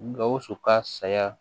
Gawusu ka saya